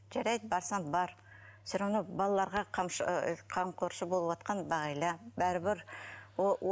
жарайды барсаң бар все равно балаларға ыыы қамқоршы болыватқан бағила бәрібір ол